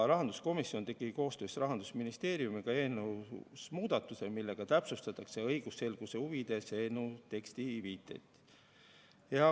Rahanduskomisjon tegi koostöös Rahandusministeeriumiga eelnõus muudatuse, millega õigusselguse huvides täpsustatakse eelnõu teksti viiteid.